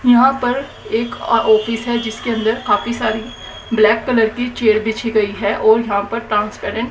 यहां पर एक ऑफिस है जिसके अंदर काफी सारी ब्लैक कलर की चेयर बिछी गई है और यहां पर ट्रांसपेरेंट --